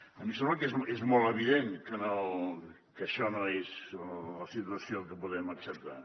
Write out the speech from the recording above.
a mi em sembla que és molt evident que això no és la situació que podem acceptar